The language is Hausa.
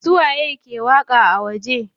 Su waye ke waƙa a waje?